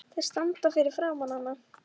Þeir standa fyrir framan hana.